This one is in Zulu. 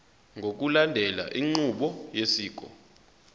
ngokulandela inqubo yosiko